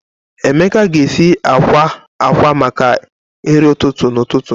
Emeka ga-esi akwa akwa maka nri ụtụtụ n'ụtụtụ.